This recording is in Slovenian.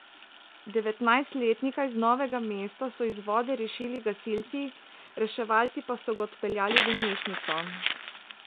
Devetnajstletnika iz Novega mesta so iz vode rešili gasilci, reševalci pa so ga odpeljali v bolnišnico.